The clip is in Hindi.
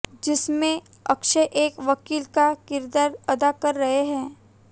जिसमें अक्षय एक वकील का किरदार अदा कर रहे है